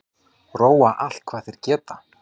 Róa allt hvað þeir geta